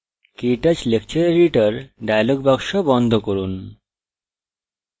ktouch lecture editor dialog box বন্ধ করুন